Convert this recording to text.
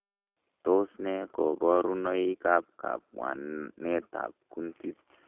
Tos nee koborunoikab kabwanetab kuntit?